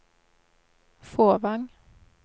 Fåvang